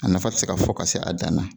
A nafa te se k'a fɔ ka se a dan na